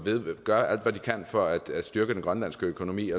gør alt hvad de kan for at styrke den grønlandske økonomi